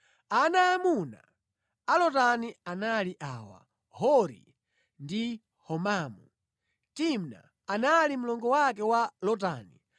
Ana aamuna a Lotani anali awa: Hori ndi Homamu. Timna anali mlongo wake wa Lotani.